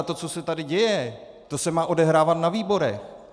A to, co se tady děje, to se má odehrávat na výborech!